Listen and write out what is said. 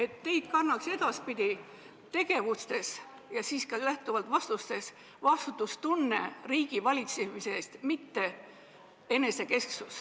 Ma väga loodan, et edaspidi oleksid teie tegevus riigi valitsemisel ja ka vastused kantud vastutustundest, mitte enesekesksusest.